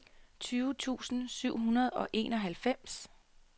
tyve tusind syv hundrede og enoghalvfems